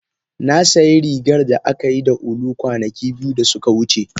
Na sayi rigar da aka yi da ulu kwanaki biyu da suka wuce.